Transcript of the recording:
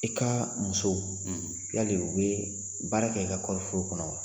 I ka muso yali u bɛ baara kɛ i ka kɔɔri foro kɔnɔ wa?